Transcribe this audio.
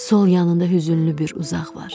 Sol yanında hüzünlü bir uzaq var.